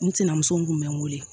N sinamuso tun bɛ n wele